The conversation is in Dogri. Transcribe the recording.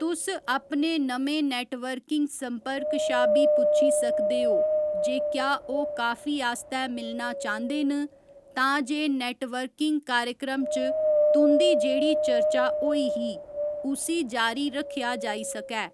तुस अपने नमें नेटवर्किंग संपर्क शा बी पुच्छी सकदे ओ जे क्या ओह् काफी आस्तै मिलना चांह्दे न तां जे नेटवर्किंग कार्यक्रम च तुं'दी जेह्ड़ी चर्चा होई ही उसी जारी रक्खेआ जाई सकै।